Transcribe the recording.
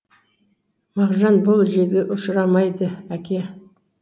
мағжан бұл желге ұшырмайды әке